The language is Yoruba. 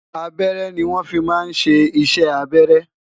abẹrẹ ni won fí má sé iṣẹ abẹrẹ